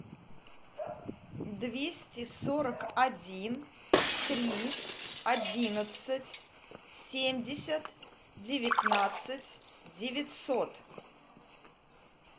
двести сорок один три одиннадцать семьдесят девятнадцать девятьсот